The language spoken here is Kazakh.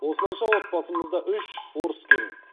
осылайша отбасымызда үш орыс келін